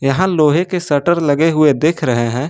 यहां लोहे के शटर लगे हुए दिख रहे हैं।